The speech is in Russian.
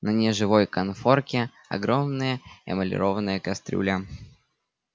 на неживой конфорке огромная эмалированная кастрюля